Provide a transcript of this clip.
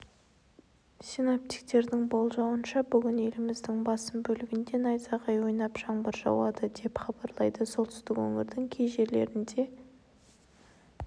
синоптиктердің болжауынша бүгін еліміздің басым бөлігінде найзағай ойнап жаңбыр жауады деп хабарлайды солтүстік өңірдің кей жерлерінде